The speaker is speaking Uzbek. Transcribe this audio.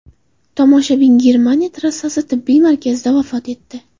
Tomoshabin Germaniya trassasi tibbiy markazida vafot etdi.